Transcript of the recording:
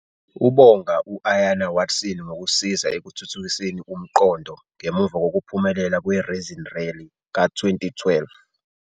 Ubonga u-Ayanna Watson ngokusiza ekuthuthukiseni umqondo ngemuva kokuphumelela kweReason Rally ka-2012.